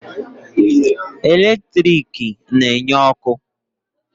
Eletrik na-enye ọkụ.